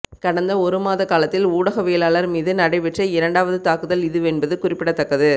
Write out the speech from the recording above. கடந்த ஒரு மாத காலத்தில் ஊடகவியலாளர் மீது நடைபெற்ற இரண்டாவது தாக்குதல் இதுவென்பது குறிப்பிடத்தக்கது